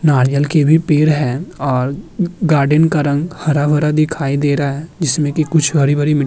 नारियल के भी पेड़ हैं और गार्डन का रंग भी हरा भरा दिखाई दे रहा है जिसमें कि कुछ हरी भरी मिट्टी --